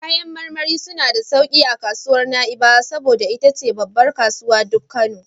Kayan marmari suna da sauki a kasuwar Na'ibawa, saboda ita ce babbar kasu duk Kano...